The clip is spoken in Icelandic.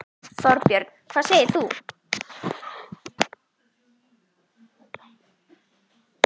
Þorbjörn: Hvað segir þú?